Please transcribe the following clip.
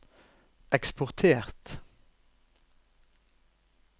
eksportert